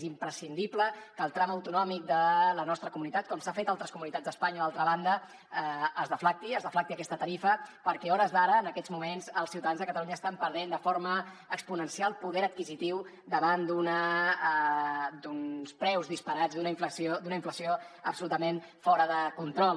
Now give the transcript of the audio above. és imprescindible que el tram autonòmic de la nostra comunitat com s’ha fet a altres comunitats d’espanya d’altra banda es deflacti que es deflacti aquesta tarifa perquè a hores d’ara en aquests moments els ciutadans de catalunya estan perdent de forma exponencial poder adquisitiu davant d’uns preus disparats d’una inflació absolutament fora de control